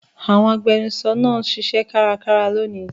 Àwọn agbẹnusọ náà ń ṣiṣẹ́ kárakára lónìí.